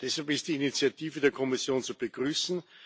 Deshalb ist die Initiative der Kommission zu begrüßen.